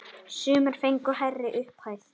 Sumir fengu hærri upphæð.